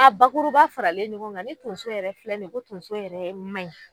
A bakuruba faralen ɲɔgɔn kan ni tonso yɛrɛ filɛ nin ye ko tonso yɛrɛ man ɲi.